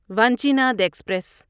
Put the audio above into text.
Vanchinad express